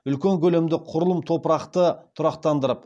үлкен көлемді құрылым топырақты тұрақтандырып